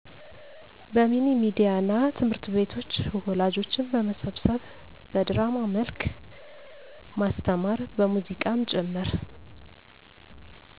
በሚኒሚዲያ እና ትምህርትቤቶች ወላጆችን በመመብሰብ በድራማ መልክ ማስተማር በሙዚቃም ጭምር